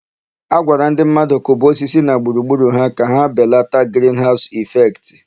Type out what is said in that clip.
A gwara ndị mmadụ kụba osisi na gburugburu ha ka ebelata grinhaụsụ ịfektị.